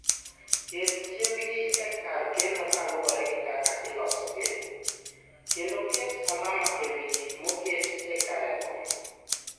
Ket chiembgi e kar keno kaluwore gi kaka ilosogi, kendo ket alama e wi gik moket e karego.